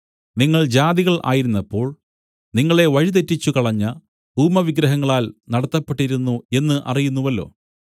നിങ്ങൾ ജാതികൾ ആയിരുന്നപ്പോൾ നിങ്ങളെ വഴിതെറ്റിച്ചുകളഞ്ഞ ഊമവിഗ്രഹങ്ങളാൽ നടത്തപ്പെട്ടിരുന്നു എന്ന് അറിയുന്നുവല്ലോ